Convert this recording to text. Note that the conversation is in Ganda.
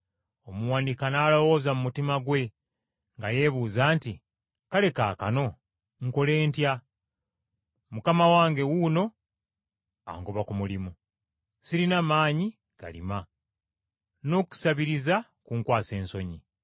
“Omuwanika n’alowooza mu mutima gwe, nga yeebuuza nti, ‘Kale kaakano nkole ntya? Mukama wange wuuno angoba ku mulimu. Sirina maanyi galima, n’okusabiriza kunkwasa ensonyi.